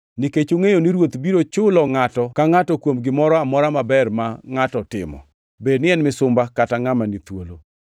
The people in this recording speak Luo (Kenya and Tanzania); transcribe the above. nikech ungʼeyo ni Ruoth biro chulo ngʼato ka ngʼato kuom gimoro amora maber ma ngʼato timo, bed ni en misumba kata ngʼama ni thuolo.